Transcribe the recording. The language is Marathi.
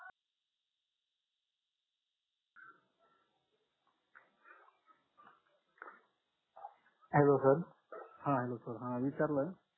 hello sir हा hello sir हा विचारलं